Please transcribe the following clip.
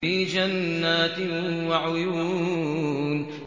فِي جَنَّاتٍ وَعُيُونٍ